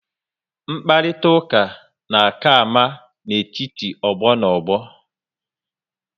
Mkparitauka na aka ama n'etiti ogbo na ogbo